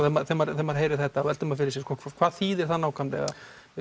þegar maður heyrir þetta þá veltir maður fyrir sér hvað þýðir það nákvæmlega er